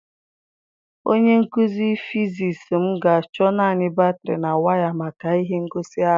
Onye nkuzi fịzis m ga-achọ naanị batrị na waya maka ihe ngosi ahụ.